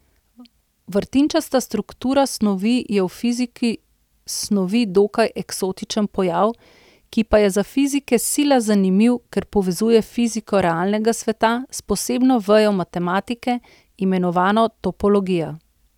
Vrtinčasta struktura snovi je v fiziki snovi dokaj eksotičen pojav, ki pa je za fizike sila zanimiv, ker povezuje fiziko realnega sveta s posebno vejo matematike, imenovano topologija.